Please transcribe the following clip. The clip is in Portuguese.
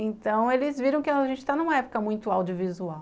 Então eles viram que a gente está numa época muito audiovisual.